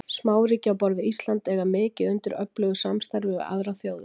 Smáríki á borð við Ísland eiga mikið undir öflugu samstarfi við aðrar þjóðir.